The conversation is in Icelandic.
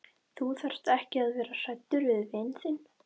Þú þarft ekki að vera hræddur við vin þinn.